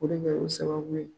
O de kɛ la sababu ye.